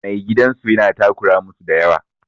Mai gidan su yana takura musu da yawa.